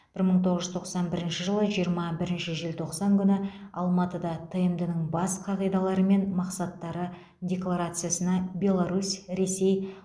бір мың тоғыз жүз тоқсан бірінші жылы жиырма бірінші желтоқсан күні алматыда тмд ның бас қағидалары мен мақсаттары декларациясына беларусь ресей